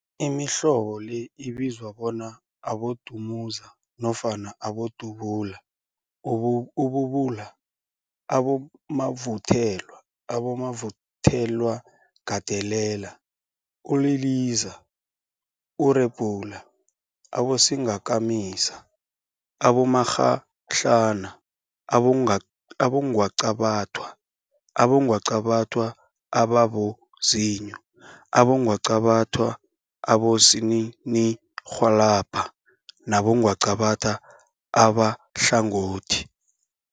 Imihlobo le ibizwa bona abodumuza nofana abodubula, ububula, abomavuthelwa, abomavuthelwagandelela, uliliza, urephula, abosingakamisa, abomakghadlana, abongwaqabathwa, abongwaqabathwa ababozinyo, abongwaqabathwa abosininirhwalabha nabongwaqabatha abahlangothi.